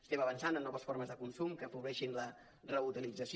estem avançant en noves formes de consum que afavoreixin la reutilització